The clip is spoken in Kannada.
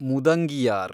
ಮುದಂಗಿಯಾರ್